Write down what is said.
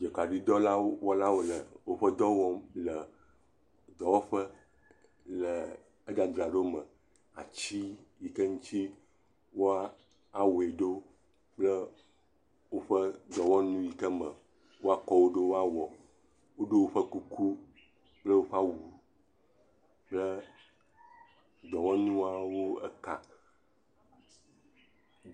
Dzokaɖitɔwo wole awu me le woƒe dɔ wɔm le dɔwɔƒe le edzadzra ɖo me, at iyi ke ŋuti woawɔe ɖo kple woƒe dɔwɔnu yi ke woakɔ wo ɖo awɔ, woɖɔ woƒe kuku kple woƒe awu kple dɔwɔnuawo eka.